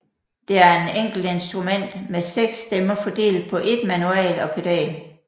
Det er en enkelt instrument med seks stemmer fordelt på ét manual og pedal